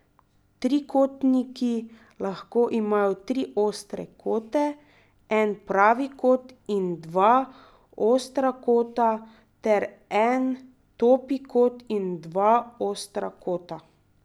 Trikotniki lahko imajo tri ostre kote, en pravi kot in dva ostra kota ter en topi kot in dva ostra kota.